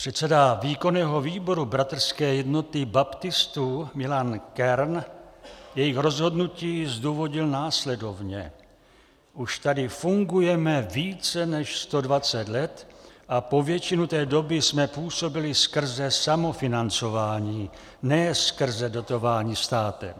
Předseda výkonného výboru Bratrské jednoty baptistů Milan Kern jejich rozhodnutí zdůvodnil následovně: Už tady fungujeme více než 120 let a po většinu té doby jsme působili skrze samofinancování, ne skrze dotování státem.